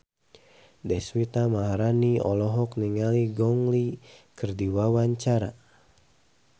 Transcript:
Deswita Maharani olohok ningali Gong Li keur diwawancara